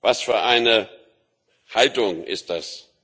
Was für eine Haltung ist das?